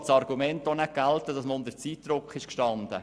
Wir lassen das Argument nicht gelten, dass man unter Zeitdruck stand.